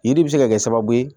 Yiri bɛ se ka kɛ sababu ye